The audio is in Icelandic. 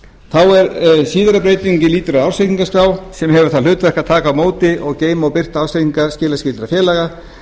inn ársreikningi eða samstæðureikningi síðari breytingin lýtur að ársreikningaskrá sem hefur það hlutverk að taka á móti geyma og birta ársreikninga skilaskyldra félaga